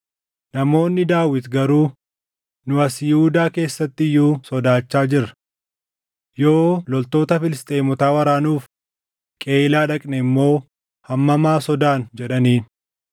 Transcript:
Namoonni Daawit garuu, “Nu as Yihuudaa keessatti iyyuu sodaachaa jirra. Yoo loltoota Filisxeemotaa waraanuuf Qeyiilaa dhaqne immoo hammam haa sodaannu!” jedhaniin.